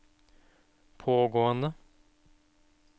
pågående